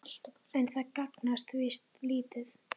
En það gagnast víst lítið.